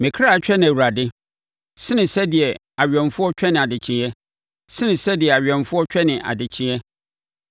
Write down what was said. Me kra twɛne Awurade sene sɛdeɛ awɛmfoɔ twɛne adekyeɛ, sene sɛdeɛ awɛmfoɔ twene adekyeɛ.